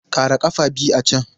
Ƙara ƙafa biyu a can!